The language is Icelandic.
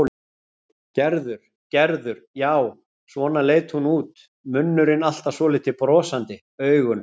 Gerður, Gerður, já, svona leit hún út, munnurinn alltaf svolítið brosandi, augun.